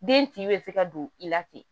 Den tin bɛ se ka don i la ten